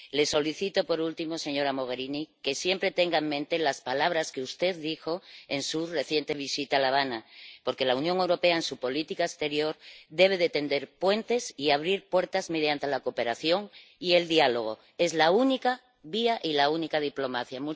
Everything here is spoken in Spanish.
Le solicito por último, señora Mogherini, que siempre tenga en mente las palabras que usted dijo en su reciente visita a La Habana, porque la Unión Europea, en su política exterior, debe tender puentes y abrir puertas mediante la cooperación y el diálogo es la única vía y la única diplomacia.